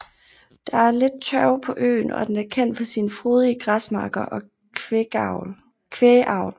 Der er lidt tørv på øen og den er kendt for sine frodige græsmarker og kvægavl